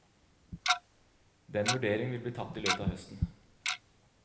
Den vurderingen vil bli tatt i løpet av høsten.